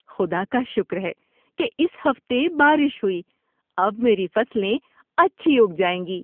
خدا کا شکر ہے کہ اس ہفتے بارش ہوئی۔ اب میری فصلیں اچھی اگ جائیں گی۔